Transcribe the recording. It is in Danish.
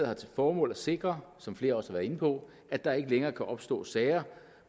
har til formål at sikre som flere også har været inde på at der ikke længere kan opstå sager